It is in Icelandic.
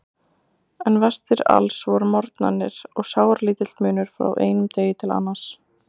En verstir alls voru morgnarnir og sáralítill munur frá einum degi til annars.